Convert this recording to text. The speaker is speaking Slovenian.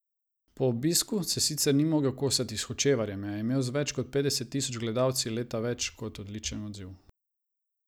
Po obisku se sicer ni mogel kosati s Hočevarjem, a je imel z več kot petdeset tisoč gledalci leta več kot odličen odziv.